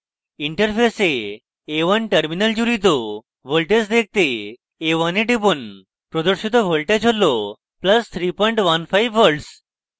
interface a1 terminal জুড়িত voltage দেখাতে a1 এ টিপুন প্রদর্শিত voltage হল + 315v v